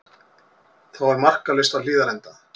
Þá er markalaust á Hlíðarenda